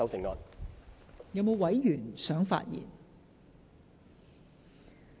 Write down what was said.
是否有委員想發言？